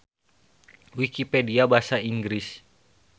Wikipedia Basa Inggris.